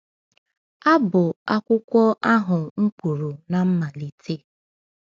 A bụ akwụkwọ ahụ m kwuru na mmalite.